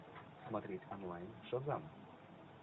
смотреть онлайн шазам